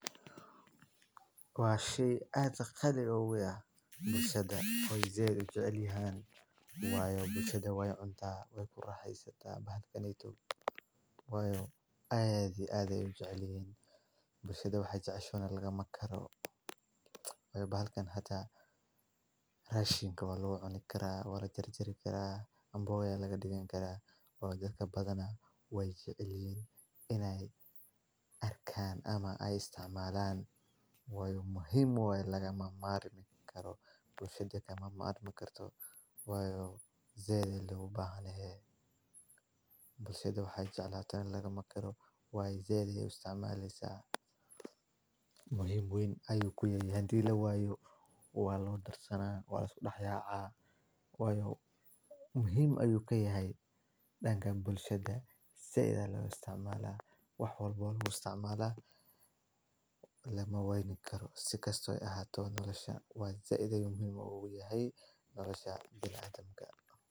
Waa sii aad ka qali u weya bulsada way zeeli u jeclinaan. Waayo bulsada way un taahlo waayo ku raaxaysataa baal kanaytu wayu aadi aadaa u jeclin. Bulshada waxa jecasho laga ma karo waayo baal kan hataa raashinka waa loo coni karaa waa jari jari karaa ambooya laga dhigan karaa. Waa dadka badana way jeclin in ay arkaan ama ay istaamaalaan. Way muhiim way lagama maarmi karo bulshada kama maarmi karto wayu zeeli loogu baahan yahay. Bulshada waxa jecala tan laga ma karo waay zeeli u istaamalaysaa. Muhiim uun ayuu ku yeeyan. Diilu wayuu waa loo darsanaa waa la dhex yaaca. Wayuu muhiim ayuu ka yahay dhangan bulshada. Si ida loo istaamala wax walbo loogu istaamala la ma wayni karo si kastoo ay ahaato nolosha. Waan si iday muhiim ugu yahay nolosha bil aadamga.